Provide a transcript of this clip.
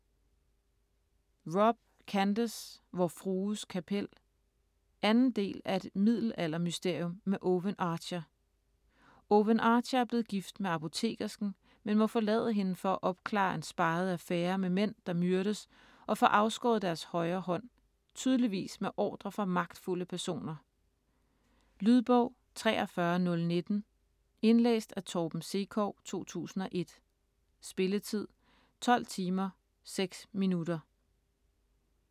Robb, Candace: Vor frues kapel 2. del af Et middelaldermysterium med Owen Archer. Owen Archer er blevet gift med apotekersken, men må forlade hende for at opklare en speget affære med mænd, der myrdes og får afskåret deres højre hånd - tydeligvis med ordre fra magtfulde personer. Lydbog 43019 Indlæst af Torben Sekov, 2001. Spilletid: 12 timer, 6 minutter.